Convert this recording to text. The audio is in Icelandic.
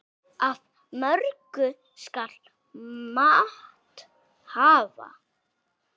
Af mörgu skal mat hafa.